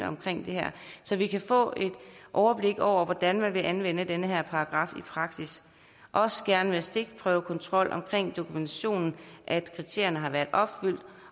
omkring det her så vi kan få et overblik over hvordan man vil anvende denne paragraf i praksis også gerne med stikprøvekontrol omkring dokumentationen af at kriterierne har været opfyldt